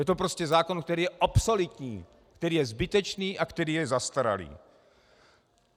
Je to prostě zákon, který je obsoletní, který je zbytečný a který je zastaralý.